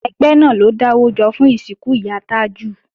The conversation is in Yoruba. Ẹgbẹ́ náà ló dáwọ́ jọ fún ìsìnkú ìyá Tájù